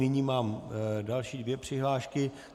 Nyní mám další dvě přihlášky.